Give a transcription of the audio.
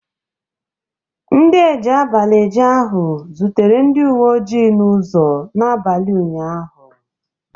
Ndi eji abalị eje ahụ zutere ndị uwe oji n'ụzọ n'abalị ụnyaahụ